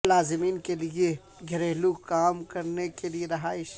ملازمین کے لئے گھریلو کام کرنے کے لئے رہائش